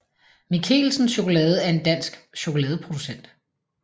Michelsen Chokolade er en dansk chokoladeproducent